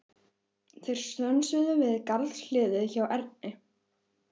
Þeir stönsuðu við garðshliðið hjá Erni.